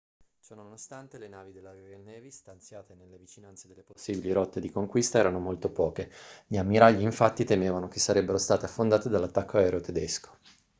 ciononostante le navi della royal navy stanziate nelle vicinanze delle possibili rotte di conquista erano molto poche gli ammiragli infatti temevano che sarebbero state affondate dall'attacco aereo tedesco